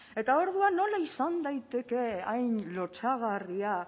eta orduan nola izan daiteke hain lotsagarria